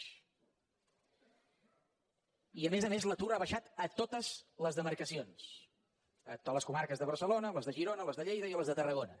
i a més a més l’atur ha baixat a totes les demarcacions a totes les comarques de barcelona les de girona les de lleida i a les de tarragona